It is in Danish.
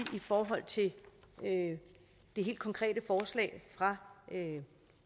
i forhold til det helt konkrete forslag fra